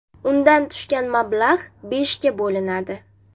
Undan tushgan mablag‘ beshga bo‘linadi.